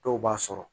Dɔw b'a sɔrɔ